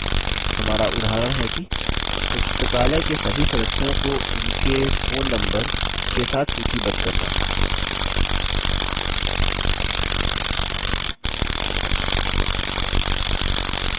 हमारा उदाहरण है कि पुस्तकालय के सभी सदस्यों को उनके phone नम्बर के साथ सूचीबद्ध करना